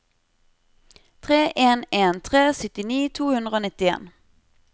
tre en en tre syttini to hundre og nittien